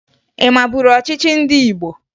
Ị maburu ọchịchị ndị Igbo?